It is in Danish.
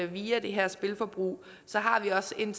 via det her spilforbrug har vi også en